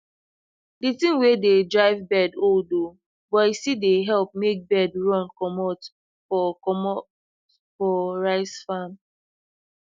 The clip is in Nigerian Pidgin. the thing wey de drive bird old oo but e still dey help make bird run comot for comot for rice farm